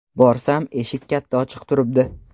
Borsam, eshik katta ochiq turibdi.